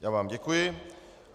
Já vám děkuji.